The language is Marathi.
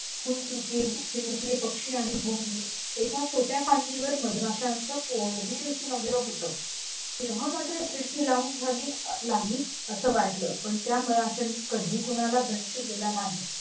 फुलचुके चिमुकले पक्षी आणि भुंगे एका छोट्या फांदीवर मधमाशांचं पोळही लागलं होत तेव्हा मात्र खिडकी लावून घावी असं वाटू लागलं पण त्या मधमाशांनी कधी कुणाला